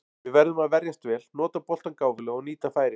Við verðum að verjast vel, nota boltann gáfulega og nýta færin.